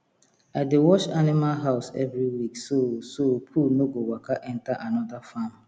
i dey wash animal house every week so so poo no go waka enter another farm